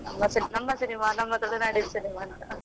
ನಮ್ಮ ಸಿನಿಮಾ ನಮ್ಮ ತುಳುನಾಡ ಸಿನಿಮಾ ಅಂತಾ.